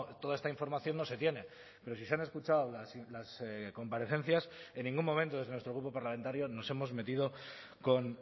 toda esta información no se tiene pero si se han escuchado las comparecencias en ningún momento desde nuestro grupo parlamentario nos hemos metido con